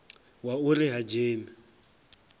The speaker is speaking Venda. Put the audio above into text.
wa u ri ha dzheni